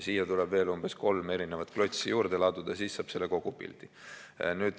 Siia tuleb veel umbes kolm klotsi juurde laduda, siis saab selle kogupildi.